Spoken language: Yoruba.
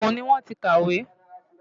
Ogun ni wàá ti kàwé!